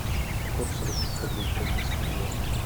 курс русских рублей к бразильскому реалу